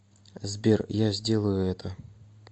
сбер я сделаю это